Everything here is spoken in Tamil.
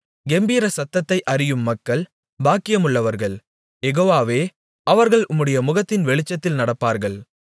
கெம்பீரசத்தத்தை அறியும் மக்கள் பாக்கியமுள்ளவர்கள் யெகோவாவே அவர்கள் உம்முடைய முகத்தின் வெளிச்சத்தில் நடப்பார்கள்